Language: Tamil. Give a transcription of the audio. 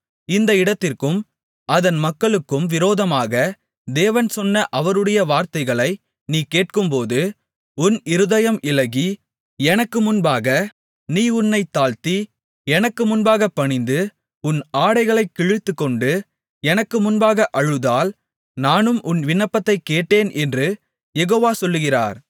இந்த இடத்திற்கும் அதன் மக்களுக்கும் விரோதமாக தேவன் சொன்ன அவருடைய வார்த்தைகளை நீ கேட்கும்போது உன் இருதயம் இளகி எனக்கு முன்பாக நீ உன்னைத் தாழ்த்தி எனக்கு முன்பாகப் பணிந்து உன் ஆடைகளைக் கிழித்துக்கொண்டு எனக்கு முன்பாக அழுததால் நானும் உன் விண்ணப்பத்தைக் கேட்டேன் என்று யெகோவா சொல்லுகிறார்